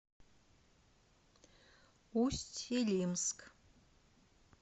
усть илимск